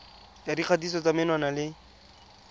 ya dikgatiso tsa menwana le